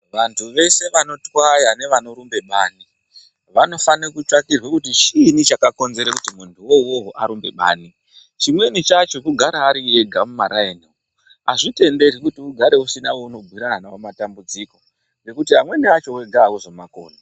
Vantu vese vanotwaya nevanorumbe bani vanofanire kutsvagirwa kuti chiini chakakonzera kuti muntu iwowowo arumbe bani, chimweni chacho kugare ari ega mumaraini azvitenderwi kuti ugare usina waunobhuyirana nawo matambudziko ngokuti amweni acho wega auzowakoni.